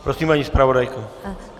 Prosím, paní zpravodajko.